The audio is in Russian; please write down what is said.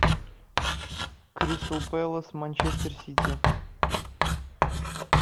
кристал пэлас манчестер сити